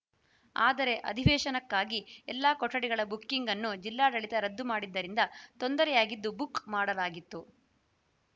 ಆದರೆ ಅಧಿವೇಶನಕ್ಕಾಗಿ ಎಲ್ಲ ಕೊಠಡಿಗಳ ಬುಕಿಂಗ್‌ ಅನ್ನು ಜಿಲ್ಲಾಡಳಿತ ರದ್ದು ಮಾಡಿದ್ದರಿಂದ ತೊಂದರೆಯಾಗಿದ್ದು ಬುಕ್‌ ಮಾಡಲಾಗಿತ್ತು